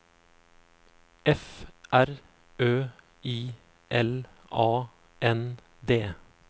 F R Ø I L A N D